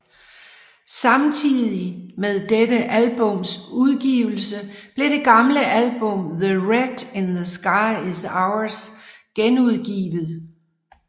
Samtidig med dette albums ugivelse blev det gamle album The Red in the Sky Is Ours genudgivet